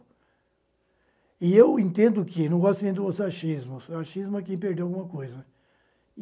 E eu entendo que, não gosto nem de usar oo achismos, achismo é quem perdeu alguma coisa.